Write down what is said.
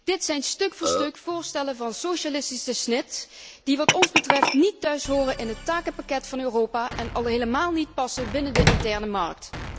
Dit zijn stuk voor stuk voorstellen van socialistische snit die wat ons betreft niet thuishoren in het takenpakket van Europa en al helemaal niet passen binnen de interne markt.